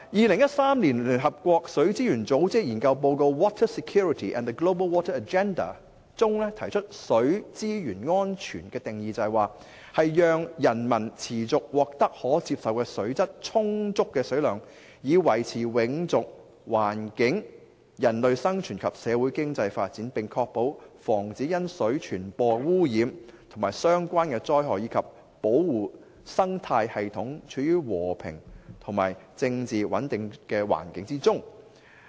聯合國水資源組織在於2013年發表的研究報告提出水資源安全的定義，就是讓人民持續獲得可接受的水質，充足的水量以維持永續環境、人類生存及社會經濟發展，並確保防止因水傳播污染及相關災害，以及保護生態系統處於和平與政治穩定的環境中。